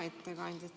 Hea ettekandja!